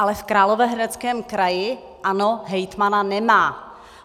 Ale v Královéhradeckém kraji, ano, hejtmana nemá.